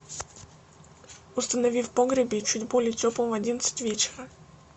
установи в погребе чуть более теплым в одиннадцать вечера